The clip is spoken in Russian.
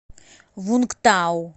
вунгтау